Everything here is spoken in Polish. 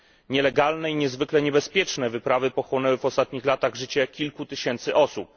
Nielegalne i niezwykle niebezpieczne wyprawy pochłonęły w ostatnich latach życie kilku tysięcy osób.